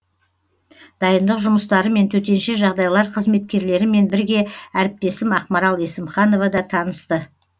дайындық жұмыстарымен төтенше жағдайлар қызметкерлерімен бірге әріптесім ақмарал есімханова да танысты